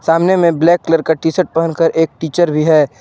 सामने में black colour का टी शर्ट पहनकर एक टीचर भी है।